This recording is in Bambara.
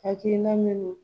Hakilina minnu